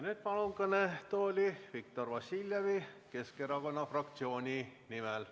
Nüüd palun kõnetooli Viktor Vassiljevi Keskerakonna fraktsiooni nimel.